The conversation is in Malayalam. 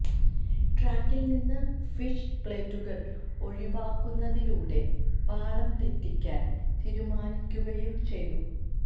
ട്രാക്കിൽ നിന്ന് ഫിഷ് പ്ലേറ്റുകൾ ഒഴിവാക്കുന്നതിലൂടെ പാളംതെറ്റിക്കാൻ തീരുമാനിക്കുകയും ചെയ്തു